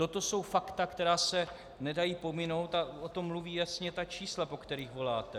Toto jsou fakta, která se nedají pominout, a o tom mluví jasně ta čísla, po kterých voláte.